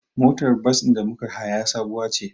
Motar safar da muka haya sabuwa ce.